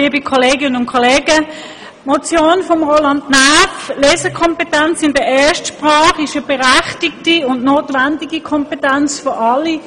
Die in der Motion von Roland Näf verlangte Lesekompetenz in der Erstsprache ist eine berechtigte und notwendige Kompetenz für alle;